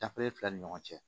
Dafere fila ni ɲɔgɔn cɛ